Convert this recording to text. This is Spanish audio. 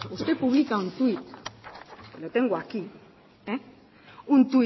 usted publica un tweet lo tengo aquí un